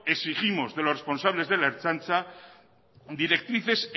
exigimos de los responsables de la ertzantza directrices